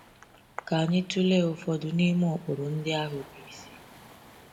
Ka anyị tụlee ụfọdụ n’ime ụkpụrụ ndị ahụ bụ isi.